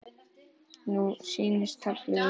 Nú snýst taflið við.